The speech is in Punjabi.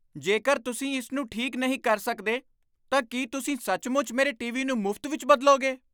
ਜੇਕਰ ਤੁਸੀਂ ਇਸ ਨੂੰ ਠੀਕ ਨਹੀਂ ਕਰ ਸਕਦੇ ਤਾਂ ਕੀ ਤੁਸੀਂ ਸੱਚਮੁੱਚ ਮੇਰੇ ਟੀਵੀ ਨੂੰ ਮੁਫ਼ਤ ਵਿੱਚ ਬਦਲੋਗੇ ?